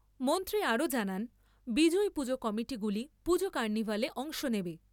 মন্ত্রী আরও জানান, বিজয়ী পুজো কমিটিগুলি পুজো কার্নিভালে অংশ নেবে।